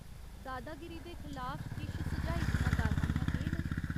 दादागिरी दे खलाफ किश सुझाई दियां कारवाइयां केह् न ?